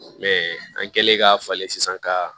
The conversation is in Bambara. an kɛlen ka falen sisan ka